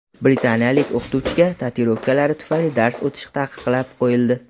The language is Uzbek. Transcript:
Britaniyalik o‘qituvchiga tatuirovkalari tufayli dars o‘tish taqiqlab qo‘yildi.